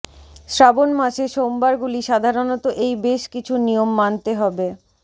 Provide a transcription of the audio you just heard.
শ্রাবণ মাসে সোমবারগুলি সাধারণত এই বেশ কিছু নিয়ম মানতে হবে